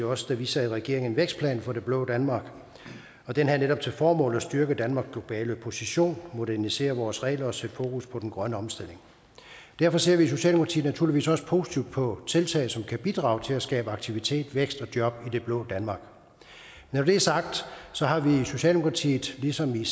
også da vi sad i regering vækstplan for det blå danmark og den havde netop til formål at styrke danmarks globale position modernisere vores regler og sætte fokus på den grønne omstilling derfor ser vi i socialdemokratiet naturligvis også positivt på tiltag som kan bidrage til at skabe aktivitet vækst og job i det blå danmark når det er sagt har vi i socialdemokratiet ligesom i